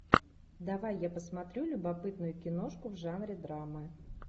давай я посмотрю любопытную киношку в жанре драмы